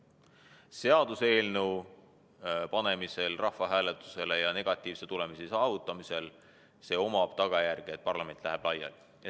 Ent seaduseelnõu panemisel rahvahääletusele ja negatiivse tulemuse saamisel on tagajärg see, et parlament läheb laiali.